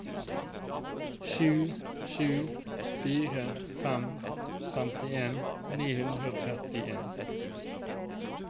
sju sju fire fem femtien ni hundre og trettien